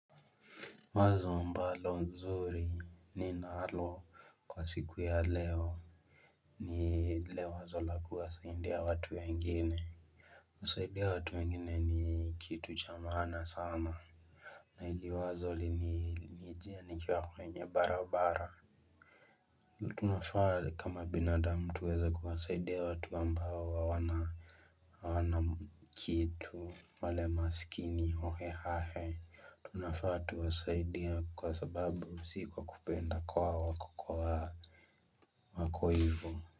Wazo ambalo nzuri ninalo kwa siku ya leo ni lile wazo la kuwasaidia watu wengine kusaidia watu wengine ni kitu cha maana sana na hili wazo lilinijia nikiwa kwenye barabara tunafaa kama binadamu tuweze kuwasaidia watu ambao wana wana kitu wale masikini hohe hahe Tunafaa tuwasaidie kwa sababu si kwa kupenda kwao wako kwa wako hivo.